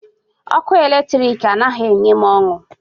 Ọkụ eletrik anaghị enye m ọṅụ.